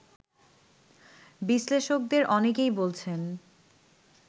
বিশ্লেষকদের অনেকেই বলছেন